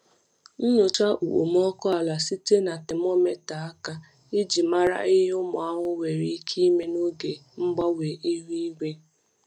Nyochaa okpomọkụ ala site na temometa aka iji mara ihe ụmụ ahụhụ nwere ike ime n’oge mgbanwe ihu igwe.